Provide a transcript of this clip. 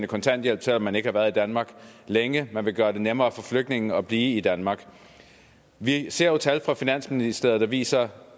kontanthjælp selv om man ikke har været i danmark længe man vil gøre det nemmere for flygtninge at blive i danmark vi ser jo tal fra finansministeriet der viser